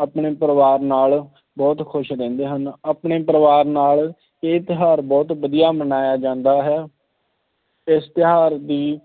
ਆਪਣੇ ਪਰਿਵਾਰ ਨਾਲ ਬਹੁਤ ਖੁਸ਼ ਰਹਿੰਦੇ ਹਨ ਆਪਣੇ ਪਰਿਵਾਰ ਨਾਲ ਇਹ ਤਿਉਹਾਰ ਬਹੁਤ ਵਧੀਆ ਮਨਾਇਆ ਜਾਂਦਾ ਹੈ, ਇਸ ਤਿਉਹਾਰ ਦੀ